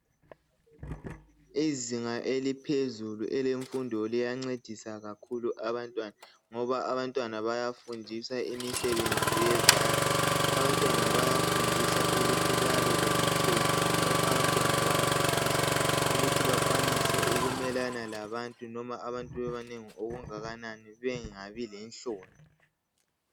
Izinga eliphezulu elemfundo liyancedisa kakhulu abantwana ngoba abantwana bayafundiswa imisebenzi yezandla abantwana bayafundiswa ukuthi babelomthetho njalo abantwana bayafundiswa ukuthi bakwanise ukumelana labantu noma abantu bebanengi okungakanani bengabi lenhloni.